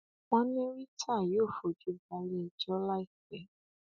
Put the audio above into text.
wọn ní rita yóò fojú bale ẹjọ láìpẹ